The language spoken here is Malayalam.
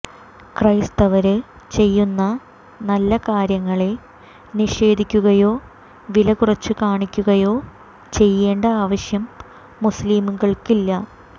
ക്രൈസ്തവര് ചെയ്യുന്ന നല്ല കാര്യങ്ങളെ നിഷേധിക്കുകയോ വില കുറച്ച് കാണിക്കുകയോ ചെയ്യേണ്ട ആവശ്യം മുസ്ലിംകള്ക്കില്ല